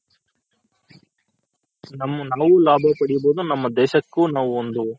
ನಾವು ಲಾಭ ಪಡಿಬೋದು ನಮ್ಮ ದೇಶಕ್ಕೂ ಒಂದೇ